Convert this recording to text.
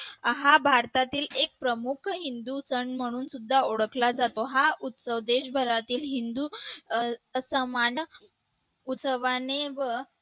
हा भारतातील एक प्रमुख हिंदू सण म्हणून सुद्धा ओळखला जातो हा सण देशभरातील हिंदू समान उत्साहाने